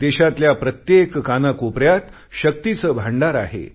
देशातल्या प्रत्येक कानाकोपऱ्यात शक्तीचे भांडार आहे